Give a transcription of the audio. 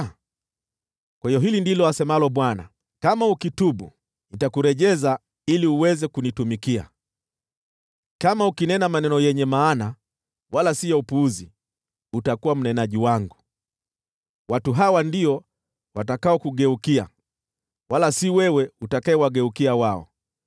Kwa hiyo hili ndilo asemalo Bwana : “Kama ukitubu, nitakurejeza ili uweze kunitumikia; kama ukinena maneno yenye maana, wala si ya upuzi, utakuwa mnenaji wangu. Watu hawa ndio watakaokugeukia, wala si wewe utakayewageukia wao.